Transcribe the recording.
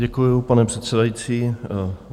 Děkuji, pane předsedající.